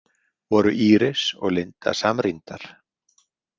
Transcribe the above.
Voru Íris og Linda samrýndar?